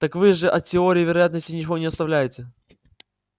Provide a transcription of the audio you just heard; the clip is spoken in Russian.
так вы же от теории вероятности ничего не оставляете